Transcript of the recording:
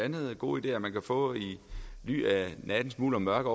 gode ideer man kan få i ly af nattens mulm og mørke